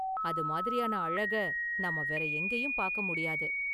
அது மாதிரியான அழக நாம வேற எங்கேயும் பாக்க முடியாது.